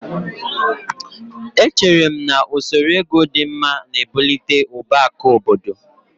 Echere m na usoro ego dị mma na-ebụlite ụba akụ obodo